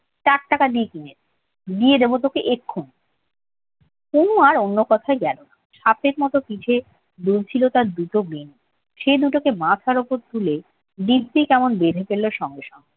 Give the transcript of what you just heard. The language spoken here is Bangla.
চার টাকা নিয়েছিলেন দিয়ে দেবো তোকে এক্ষুনি অনু আর অন্য কথায় গেল না হাতের সাথে পিঠে ঝুলছিল তার দুটো বেনি সেই দুটোকে মাথার উপর তুলে দিব্বি কেমন বেঁধে ফেলল সঙ্গে সঙ্গে